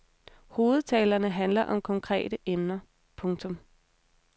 Hovedtalerne handler om konkrete emner. punktum